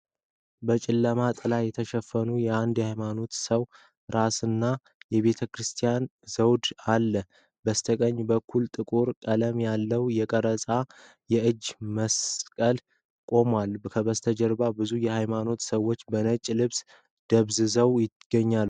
በጨለማ ጥላ የተሸፈነ የአንድ ሃይማኖታዊ ሰው ራስና የቤተ ክርስቲያን ዘውድ አለ። በስተቀኝ በኩል ጥቁር ቀለም ያለው የተቀረጸ የእጅ መስቀል ቆሟል። ከበስተጀርባ ብዙ የሃይማኖት ሰዎች በነጭ ልብስ ደብዝዘው ይገኛሉ።